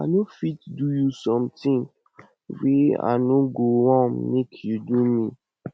i no fit do you sometin wey i no go wan make you do me